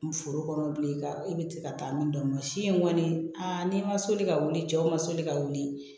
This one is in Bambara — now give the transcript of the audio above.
Foro kɔnɔ bilen ka e bɛ ka taa min dɔn masi in kɔni a n'i ma soli ka wuli cɛw ma soli ka wuli